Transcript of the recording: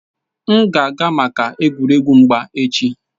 M ga-aga maka egwuregwu mgba echi